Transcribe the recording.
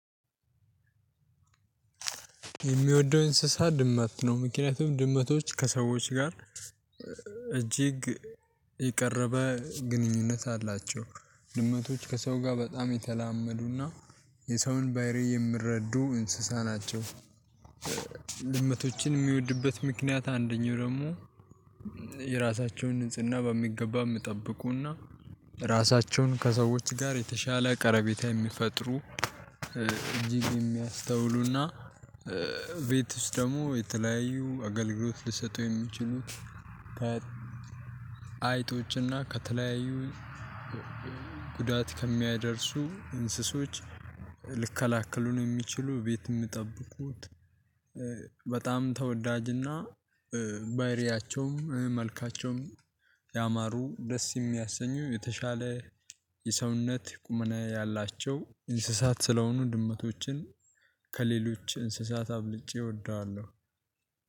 የሚወደው እንስሳ ድመት ነው። ምክንያቱም ድመቶች ከሰዎች ጋር እጅግ የቀረበ ግንኙነት አላቸው። ድመቶች ከሰው ጋር በጣም የተላመዱና የሰውን ባህሪ የምረዱ እንስሳ ናቸው። ድመቶችን የሚወድበት ምክንያት አንደኛው ደግሞ የራሳቸውን ንጽህና በሚገባ ምጠበቁና ራሳቸውን ከሰዎች ጋር የተሻለ ቀረቤታ የሚፈጥሩ እጅግ የሚያስተውሉና ቤት ውስጥ ደግሞ የተለያዩ አገልግሎት ልሰጡ የሚችሉት። አይጦችና ከተለያዩ ጉዳት ከሚያደርሱ እንስሶች ልከላከሉን የሚችሉ ቤት የምጠብቁት። በጣም ተወዳጅና ባይሪያቸውም መልካቸውም ያማሩ ደስ የሚያሰኙ የተሻለ የሰውነት ቁመና ያላቸው እንስሳት ስለሆኑ ድመቶችን። ከሌሎች እንስሳት አብልጬ እወደዋለሁ።